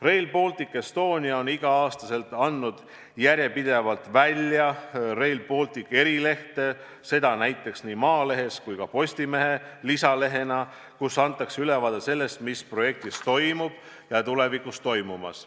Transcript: Rail Baltic Estonia on igal aastal andnud järjepidevalt välja Rail Balticu erilehte, seda nii Maalehe kui ka Postimehe lisalehena, milles esitatakse ülevaade sellest, mis projekti raames parajasti toimub ja tulevikus toimuma hakkab.